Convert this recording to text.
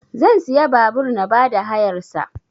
Zan siya babur na ba da hayar sa